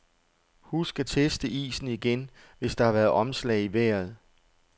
Husk at teste isen igen, hvis der har været omslag i vejret.